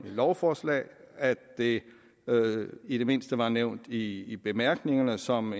lovforslaget at det i det mindste var nævnt i i bemærkningerne som